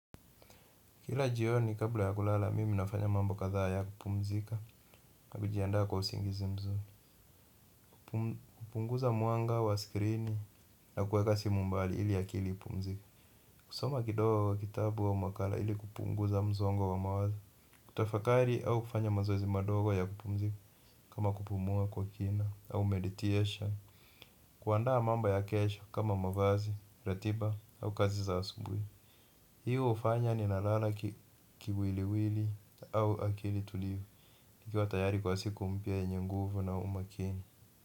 Kila jioni kabla ya kulala mimi ninafanya mambo kadhaa ya kupumzika kwa usingizi mzuri kupunguza mwanga wa skrini na kuweka simu mbali ili akili ipumzike. Kusoma kidogo kitabu au makala ili kupunguza msongo wa mawazo. Kutafakari au kufanya mazoezi madogo ya kupumzika kama kupumua kwa kina au meditation. Kuandaa mambo ya kesho kama mavazi, ratiba au kazi za asubuhi. Hiyo hufanya ninalala kiwiliwili au akili tulivu. Nikiwa tayari kwa siku mpya yenye nguvu na umakini.